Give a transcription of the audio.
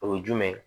O ye jumɛn ye